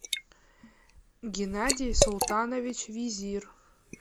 геннадий султанович визир